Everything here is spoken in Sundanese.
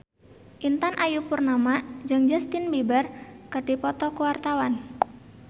Intan Ayu Purnama jeung Justin Beiber keur dipoto ku wartawan